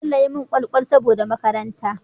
Bello yi mun kwal kwal saboda makaranta